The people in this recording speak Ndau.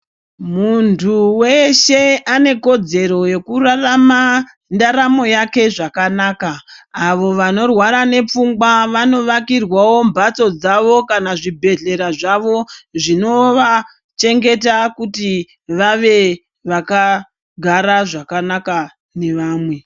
Muntu weshe ane kodzero yekurarama ndaramo yake zvakanaka. Avo vanorwara nepfungwa vanovakirwawo mhatso dzavo kana zvibhedhlera zvavo zvinovachengeta. Kuti vave vakagara zvakanaka nevamwe.